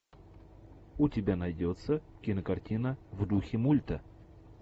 у тебя найдется кинокартина в духе мульта